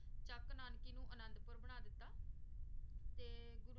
ਚਕ ਨਾਨਕੀ ਨੂ ਅਨਾਦ ਪੁਰ ਬਣਾ ਦਿਤਾ ਤੇ